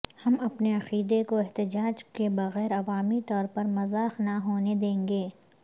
ہم اپنے عقیدے کو احتجاج کے بغیر عوامی طور پر مذاق نہ ہونے دیں گے